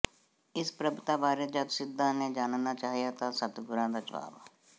ਇਸ ਪ੍ਰਭਤਾ ਬਾਰੇ ਜਦ ਸਿੱਧਾਂ ਨੇ ਜਾਨਣਾ ਚਾਹਿਆ ਤਾਂ ਸਤਿਗੁਰਾਂ ਦਾ ਜਵਾਬ